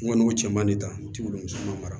N kɔni cɛ man di tan n t'i bolo musaka mara